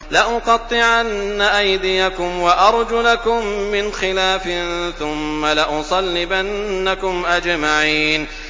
لَأُقَطِّعَنَّ أَيْدِيَكُمْ وَأَرْجُلَكُم مِّنْ خِلَافٍ ثُمَّ لَأُصَلِّبَنَّكُمْ أَجْمَعِينَ